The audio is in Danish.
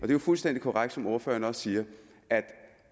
er jo fuldstændig korrekt som ordføreren siger